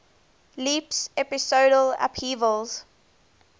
leaps episodal upheavals